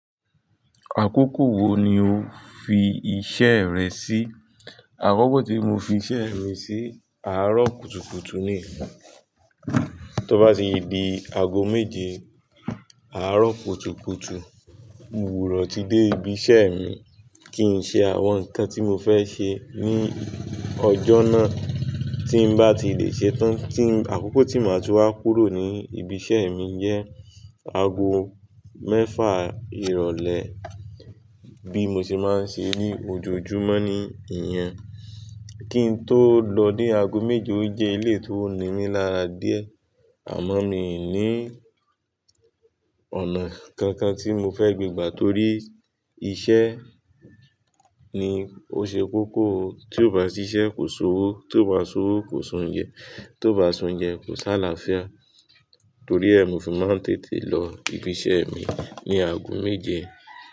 Àkókò wo ni o fi iṣẹ́ rẹ sí? Àkókò tí mo fi iṣẹ́ mi sí, àárọ̀ kùtùkùtù ni. Tó bá ti di ago méje, àárọ̀ kùtùkùtù, mo gbudọ ti dé ibi iṣẹ́ mi kí n ṣe àwọn nǹkan tí mo fẹ́ ṣe ní ọjọ́ náà tí n bá ti lè ṣetán. Àkókò tí màá tú wá kúrò ní ibi iṣẹ́ mi jẹ́ ago mẹ́fà ìrọ̀lẹ́ bí mo ṣe máa ń ṣe ní ojoojúmọ́ ni ìyẹn. Kí n tó lọ dé ago méje ó jẹ́ eléyi tó nimí lára díẹ̀ àmọ́ mi ò ní ọ̀nà kankan tí mo fẹ́ gbà torí iṣẹ́ ni ó ṣe kókó. Tí ò bá ṣiṣẹ́ kò sówó, tí ò bá ṣowó kò si oúnjẹ, tí ò bá si oúnjẹ kò sáláfiá. Torí ẹ mi ò fi máa ń tètè lọ ibi iṣẹ́ mi ní ago méje.